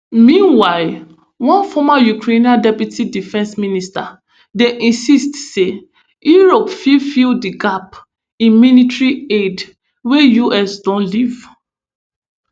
meanwhile one former ukrainian deputy defence minister dey insist say europe fit fill di gap in military aid wey us don leave